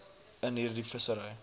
in hierdie vissery